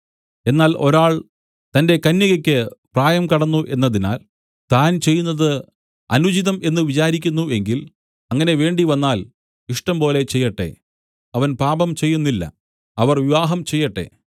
എന്നാൽ ഒരാൾ തന്റെ കന്യകയ്ക്ക് പ്രായം കടന്നു എന്നതിനാൽ താൻ ചെയ്യുന്നത് അനുചിതം എന്ന് വിചാരിക്കുന്നു എങ്കിൽ അങ്ങനെ വേണ്ടിവന്നാൽ ഇഷ്ടംപോലെ ചെയ്യട്ടെ അവൻ പാപം ചെയ്യുന്നില്ല അവർ വിവാഹം ചെയ്യട്ടെ